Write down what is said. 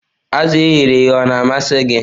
Azụ̀ e ghere eghe Ọ na-amasị gị?